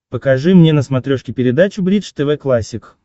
покажи мне на смотрешке передачу бридж тв классик